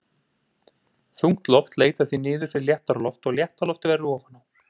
Þungt loft leitar því niður fyrir léttara loft og létta loftið verður ofan á.